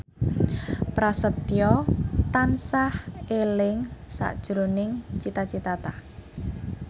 Prasetyo tansah eling sakjroning Cita Citata